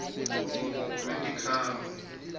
lwetikhalo